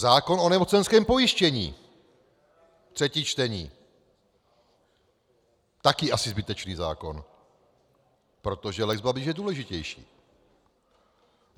Zákon o nemocenském pojištění, třetí čtení, také asi zbytečný zákon, protože lex Babiš je důležitější.